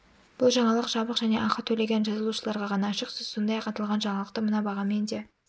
бұл жаңалық жабық және ақы төлеген жазылушыларға ғана ашық сіз сондай-ақ аталған жаңалықты мына бағамен де